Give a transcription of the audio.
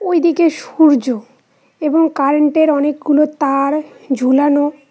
ওইদিকে সূর্য এবং কারেন্ট -এর অনেক গুলো তা-আর ঝুলানো।